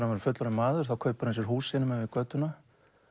verður fullorðinn maður kaupir hann sér hús hinum megin við götuna